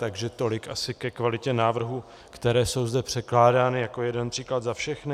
Takže tolik asi ke kvalitě návrhů, které jsou zde předkládány, jako jeden příklad za všechny.